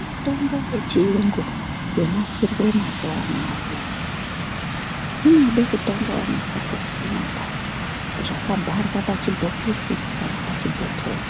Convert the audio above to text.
Mitombo yechirungu yonasirwa mazuva anawana inoda kunyaso Tanga wafunda zvakabharwa pachibhokisi kana pachibhotoro